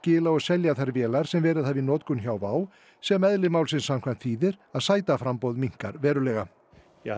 skila og selja þær vélar sem verið hafa í notkun hjá WOW sem eðli málsins samkvæmt þýðir að sætaframboð minnkar verulega